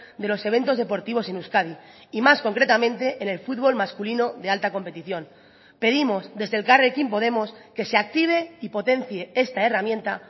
de los eventos deportivos en euskadi y más concretamente en el fútbol masculino de alta competición pedimos desde elkarrekin podemos que se active y potencie esta herramienta